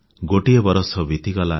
ଗୋଟିଏ ବରଷ ବିତିଗଲା